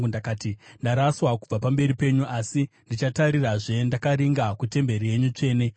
Ndakati, ‘Ndaraswa kubva pamberi penyu, asi ndichatarirazve ndakaringa kutemberi yenyu tsvene.’